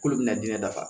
K'olu bɛna diinɛ dafa